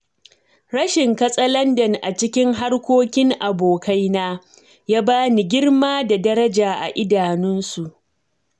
Rashin katsalandan a cikin harkokin abokaina, ya ba ni girma da daraja a idanunsu.